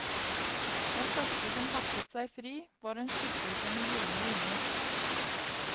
Den første som hakket seg fri, var en skikkelse med gyldne vinger.